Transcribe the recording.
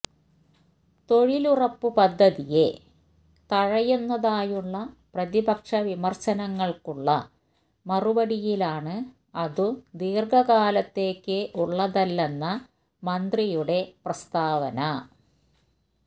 തൊഴിലുറപ്പുപദ്ധതിയെ തഴയുന്നതായുള്ള പ്രതിപക്ഷ വിമര്ശനങ്ങള്ക്കുള്ള മറുപടിയിലാണ് അതു ദീര്ഘകാലത്തേക്കുള്ളതല്ലെന്ന മന്ത്രിയുടെ പ്രസ്താവന